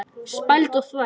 Spæld og þvæld.